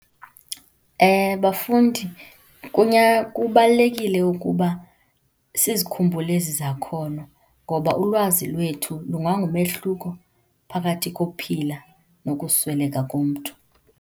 Bafundi, kubalulekile ukuba sizikhumbule ezi zakhono, ngoba ulwazi lwethu lungangumehluko phakathi kokuphila nokusweleka komntu.